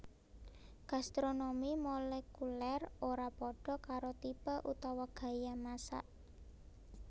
Gastronomi molekulèr ora padha karo tipe utawa gaya masak